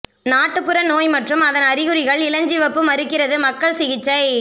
நாட்டுப்புற நோய் மற்றும் அதன் அறிகுறிகள் இளஞ்சிவப்பு மறுக்கிறது மக்கள் சிகிச்சை